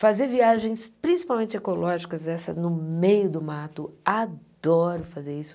Fazer viagens, principalmente ecológicas, essa no meio do mato, adoro fazer isso.